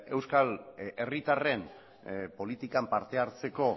euskal herritarren politikan parte hartzeko